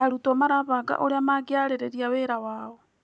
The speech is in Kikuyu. Arutwo marabanga ũrĩa mangĩarĩrĩria wĩra wao.